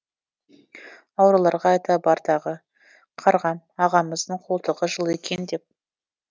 аруларға айта бар тағы қарғам ағамыздың қолтығы жылы екен деп